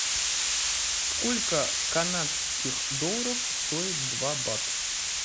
сколько канадских долларов стоит два бат